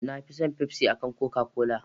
Nafi son fafsi ankan koka-kola